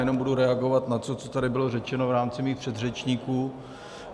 Jenom budu reagovat na to, co tady bylo řečeno v rámci mých předřečníků.